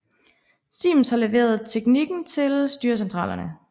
Siemens har leveret teknikken til styrecentralerne